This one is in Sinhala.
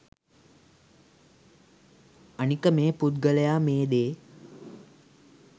අනික මේ පුද්ගලයා මේ දේ